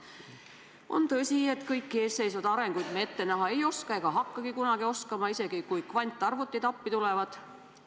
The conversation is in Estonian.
On tõsi, et kõiki eesseisvaid arenguid me ette näha ei oska ega hakka kunagi oskama, isegi kui kvantarvutid appi tulevad.